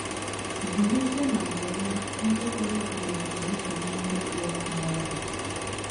Zụlitenụ àgwà ọma ndị pụrụ iguzogide nsogbu ndị kpụ ọkụ n’ọnụ